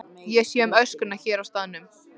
Ég sé um öskuna hér á staðnum.